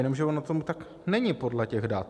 Jenomže ono tomu tak není podle těch dat.